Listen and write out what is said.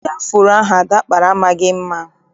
Isi afuro ahụ Ada kpara amaghị mma.